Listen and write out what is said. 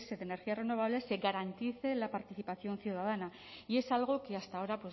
de energías renovables se garantice la participación ciudadana y es algo que hasta ahora